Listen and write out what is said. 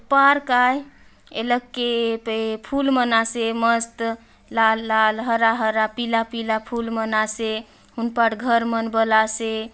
पार्क आए इहलगके फूल मनासे मस्त लाल-लाल हरा-हरा पीला-पीला फूल मन आसे उन पर घर मन बला आसे --